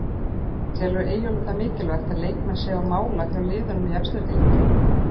Telur Eyjólfur það mikilvægt að leikmenn séu á mála hjá liðum í efstu deild?